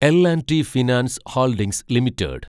L‍ and T finance holdings limited